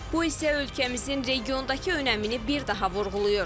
Bu isə ölkəmizin regiondakı önəmini bir daha vurğulayır.